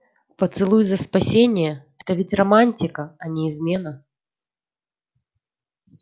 поцелуй за спасение это ведь романтика а не измена